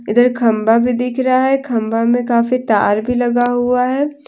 इधर खंबा भी दिख रहा है खंबा में काफी तार भी लगा हुआ है ।